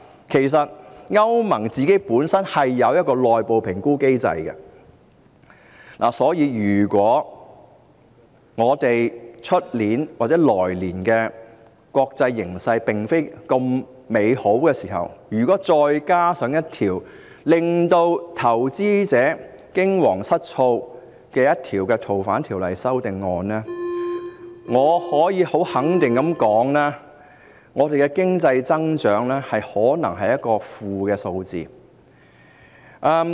其實，歐盟本身是有內部評估機制的，所以，如果我們明年的國際形勢並非那麼美好，再加上這項令投資者驚惶失措的條例草案，我可以很肯定地說，我們的經濟增長可能出現負數值。